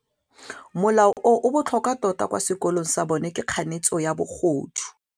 Molao o o botlhokwa tota kwa sekolong sa bone ke kganetsô ya bogodu.